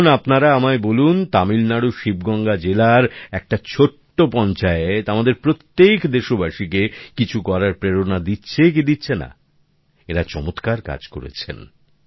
এখন আপনারা আমায় বলুন তামিল নাড়ুর শিবগঙ্গা জেলার একটা ছোট্ট পঞ্চায়েত আমাদের প্রত্যেক দেশবাসীকে কিছু করার প্রেরণা দিচ্ছে কি দিচ্ছে না এঁরা চমৎকার কাজ করেছেন